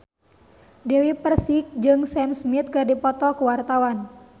Dewi Persik jeung Sam Smith keur dipoto ku wartawan